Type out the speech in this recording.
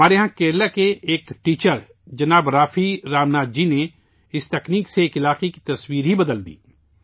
ہمارے یہاں کیرالہ کے ایک استاد جناب رافی رام ناتھ جی نے اس تکنیک سے ایک علاقے کی تصویر بدل دی